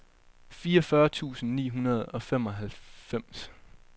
fireogfyrre tusind ni hundrede og femoghalvfems